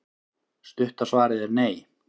Stutta svarið er nei.